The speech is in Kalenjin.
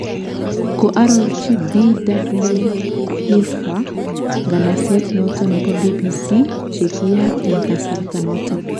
Ko arorchi Bw. Hirpha nganaset noton nebo BBC chekiyaak en kasarta noton